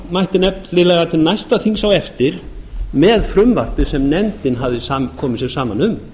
mætti nefnilega til næsta þings á eftir með frumvarpið sem nefndin hafði komið sér saman um